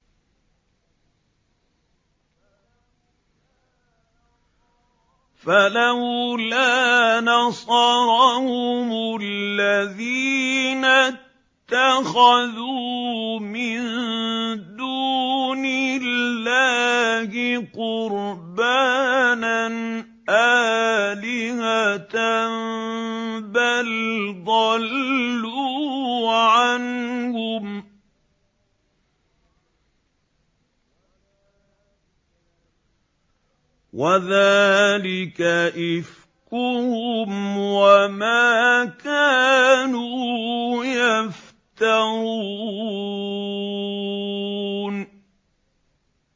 فَلَوْلَا نَصَرَهُمُ الَّذِينَ اتَّخَذُوا مِن دُونِ اللَّهِ قُرْبَانًا آلِهَةً ۖ بَلْ ضَلُّوا عَنْهُمْ ۚ وَذَٰلِكَ إِفْكُهُمْ وَمَا كَانُوا يَفْتَرُونَ